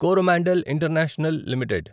Coromandel international limited